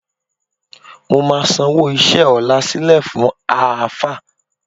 Mo máa sanwó iṣẹ́ ọ̀la sílẹ̀ fún Àáfáà